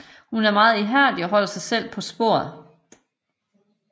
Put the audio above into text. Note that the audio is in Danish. Hun er meget ihærdig og holder sig selv på sporet